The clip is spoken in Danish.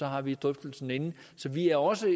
har vi drøftelsen inden så vi er også